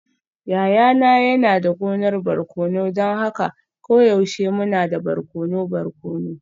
Yayana yana da gonar barkono don haka koyaushe muna da barkono barkono.